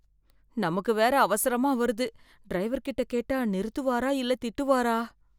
நாமுக்கு வேர அவசரமா வருது, டிரைவர்கிட்ட கேட்டா நிறுத்துவாரா இல்ல திட்டுவாரா?